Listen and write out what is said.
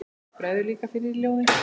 Bregður líka fyrir í ljóði.